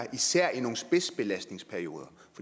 især er i nogle spidsbelastningsperioder